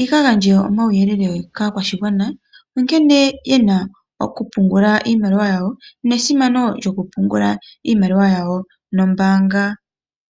yaka gandje omawuyelele kaakwashigwana nkene yena okupungula iimaliwa yawo ,nesimano lyokupungula iimaliwa yawo nombaanga.